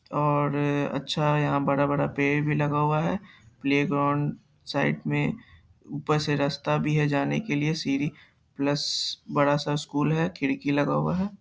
और अच्‍छा है यहाँ बड़ा-बड़ा पेड़ भी लगा हुआ है प्‍लेग्राउण्‍ड साइड में ऊपर से रास्‍ता भी है जाने के लिए सीढ़ी प्‍लस बड़ा-सा स्‍कूल है खिड़की लगा हुआ है।